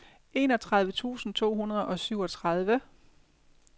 enogtredive tusind to hundrede og syvogtredive